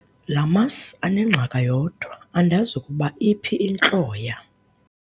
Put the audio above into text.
La masi anengqaka yodwa andazi ukuba iphi intloya.